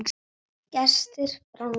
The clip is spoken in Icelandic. Gestir frá Noregi.